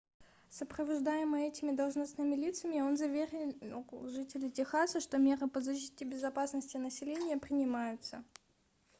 сопровождаемый этими должностными лицами он заверил жителей техаса что меры по защите безопасности населения принимаются